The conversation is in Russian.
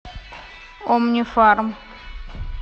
омнифарм